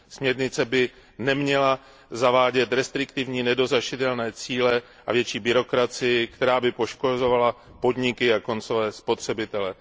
Směrnice by neměla zavádět restriktivní nedosažitelné cíle a větší byrokracii, která by poškozovala podniky a koncové spotřebitele.